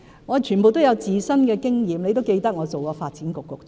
我全都有親身經驗，議員也記得我曾擔任發展局局長。